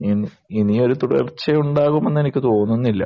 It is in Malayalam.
ഇനി ഇനിയും ഒരു തുടർച്ചയുണ്ടാകുമെന്ന് എനിക്ക് തോന്നുന്നില്ല.